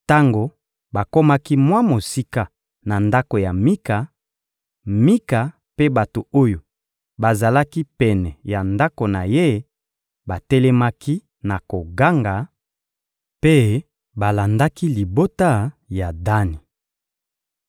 Tango bakomaki mwa mosika na ndako ya Mika, Mika mpe bato oyo bazalaki pene ya ndako na ye batelemaki na koganga mpe balandaki libota ya Dani.